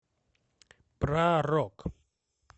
про рок